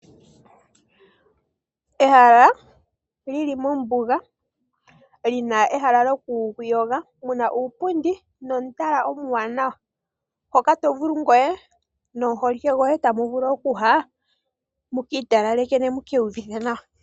Ehala li li mombuga lina ehala lyokuyoga muna uupundi nomutala omuwanawa. Hoka to vulu ngoye nomuholike goye tamu vulu okuya mukiitalaleke ne mukiiyuvithe nawa.